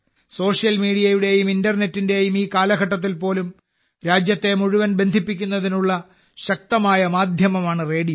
social മീഡിയയുടെയും ഇന്റർനെറ്റിന്റെയും ഈ കാലഘട്ടത്തിൽ പോലും രാജ്യത്തെ മുഴുവൻ ബന്ധിപ്പിക്കുന്നതിനുള്ള ശക്തമായ മാധ്യമമാണ് റേഡിയോ